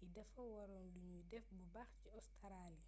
yi dafa waroon luñuy def bu baax ci ostaraali